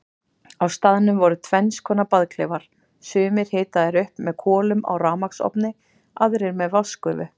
Á staðnum voru tvennskonar baðklefar, sumir hitaðir upp með kolum á rafmagnsofni, aðrir með vatnsgufu.